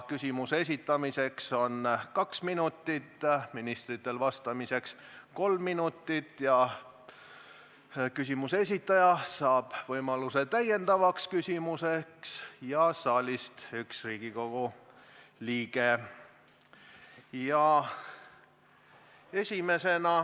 Küsimuse esitamiseks on kaks minutit, ministritel vastamiseks kolm minutit ning küsimuse esitaja ja üks Riigikogu liige saalist saavad võimaluse täiendavaks küsimuseks.